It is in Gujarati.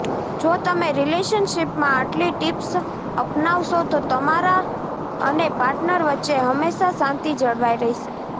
જો તમે રિલેશનશીપમાં આટલી ટિપ્સ અપનાવશો તો તમારા અને પાર્ટનર વચ્ચે હંમેશા શાંતિ જળવાઈ રહેશે